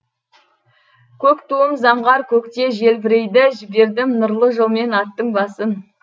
көк туым заңғар көкте желбірейді жібердім нұрлы жолмен аттың басын